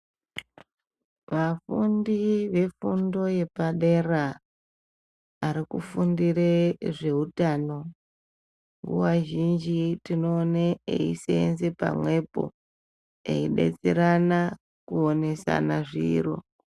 Vafundi ve fundo yepadera ari kufundire zve utano nguva zhinji tinoone eisenze pamwepo eyi betserana kuonesana zviro.